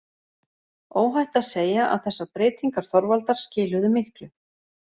Óhætt að segja að þessar breytingar Þorvaldar skiluðu miklu.